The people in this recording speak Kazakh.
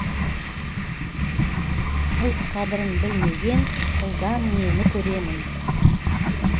ұлт қадірін білмеген ұлдан нені көремін